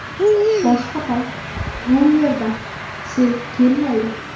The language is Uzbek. Boshqa payt bu yerdan sel kelmaydi.